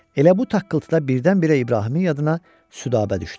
Elə bu taqqıltıda birdən-birə İbrahimin yadına Südabə düşdü.